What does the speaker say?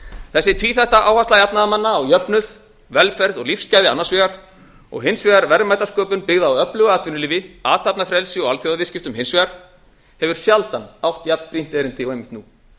þessi tvíþætta áhersla jafnaðarmanna á jöfnuð velferð og lífsgæði annars vegar og hins vegar verðmætasköpun byggða á öflugu atvinnulífi athafnafrelsi og alþjóðaviðskiptum hins vegar efla sjaldan átt jafn brýnt erindi og einmitt nú